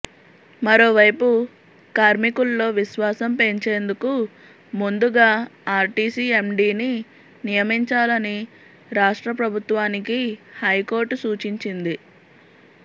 మరోవైపు కార్మికుల్లో విశ్వాసం పెంచేందుకు ముందుగా ఆర్టీసీ ఎండీని నియమించాలని రాష్ట్ర ప్రభుత్వానికి హైకోర్టు సూచించింది